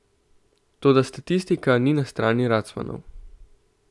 Toda statistika ni na strani Racmanov.